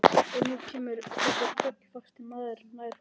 Og nú kemur þessi tröllvaxni maður nær honum.